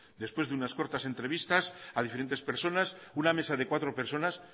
después de unas cortas entrevistas a diferentes personas una mesa de cuatro personas